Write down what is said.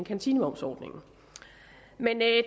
kantinemomsordningen men det